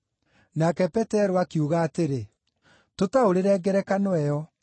Nake Petero akiuga atĩrĩ, “Tũtaũrĩre ngerekano ĩyo.”